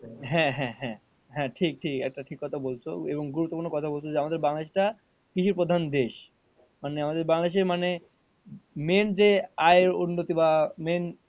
হ্যাঁ হ্যাঁ হ্যাঁ, হ্যাঁ ঠিক ঠিক একটা ঠিক কথা বলেছো এবং একটা গুরুত্বপূর্ণ কথা বলছ যে আমাদের বাংলাদেশ টা কৃষি প্রধান দেশ মানে আমাদের বাংলাদেশে মানে main যে আয় উন্নতি বা main